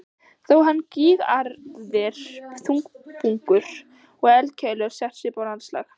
Þó hafa gígaraðir, hraunbungur og eldkeilur sett svip á landslag.